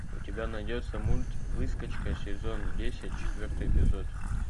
у тебя найдется мульт выскочка сезон десять четвертый эпизод